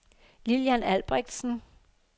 Lillian Albrechtsen